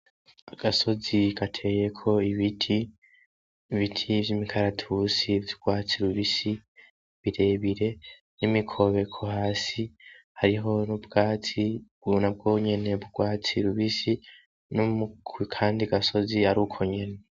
Agasozi gateyeko ibiti, ibiti vy'imikaratusi vy'urwatsi rubisi birebire n'imikobeko hasi hariho n'ubwatsi ubonako nyene, ubwatsi bubisi n'akandi gasozi ar'ukwo nyene.